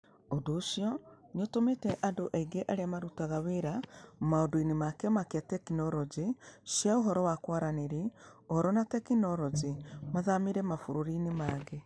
Ũndũ ũcio nĩ ũtũmĩte andũ aingĩ arĩa marutaga wĩra maũndũ-inĩ ma Kĩama kĩa Tekinoronjĩ cia ũhoro wa kũaranĩrĩa Ũhoro na Teknoroji mathamĩre mabũrũri-inĩ mangĩ.